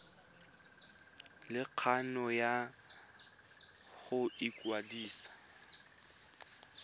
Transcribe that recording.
le kgano ya go ikwadisa